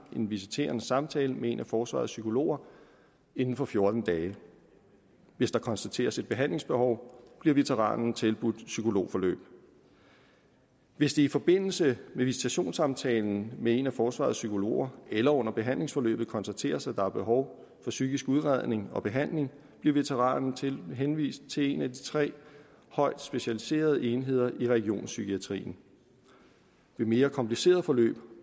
en visiterende samtale med en af forsvarets psykologer inden for fjorten dage hvis der konstateres et behandlingsbehov bliver veteranen tilbudt psykologforløb hvis det i forbindelse med visitationssamtalen med en af forsvarets psykologer eller under behandlingsforløbet konstateres at der er behov for psykisk udredning og behandling bliver veteranen henvist til en af tre højt specialiserede enheder i regionspsykiatrien ved mere komplicerede forløb